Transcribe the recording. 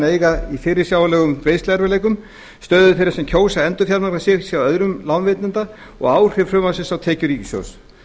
en eiga í fyrirsjáanlegum greiðsluerfiðleikum stöðu þeirra sem kjósa að endurfjármagna sig hjá öðrum lánveitanda og áhrif frumvarpsins á tekjur ríkissjóðs